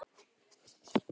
Hann tók upp tólið.